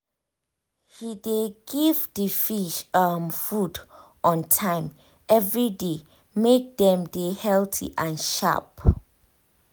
he dey give the fish um food um on time every day make dem dey healthy and sharp um